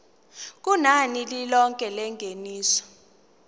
kunani lilonke lengeniso